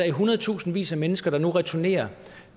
i hundredtusindvis af mennesker der returnerer